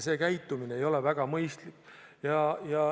See käitumine ei ole väga mõistlik.